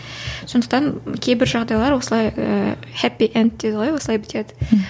сондықтан кейбір жағдайлар осылай ііі хәппи энд дейді ғой осылай бітеді